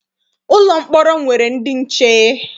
Ụlọ mkpọrọ nwere ndị nche.